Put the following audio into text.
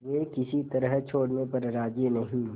वे किसी तरह छोड़ने पर राजी नहीं